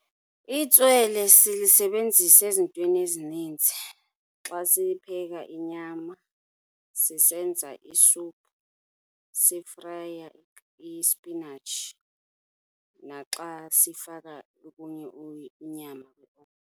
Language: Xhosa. Itswele silisebenzisa ezintweni ezininzi. Xa sipheka inyama, sisenza isuphu, sifraya ispinatshi naxa sifaka okunye inyama .